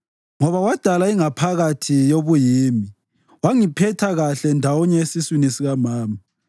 Ngoba wadala ingaphakathi yobuyimi; wangiphetha kuhle ndawonye esiswini sikamama.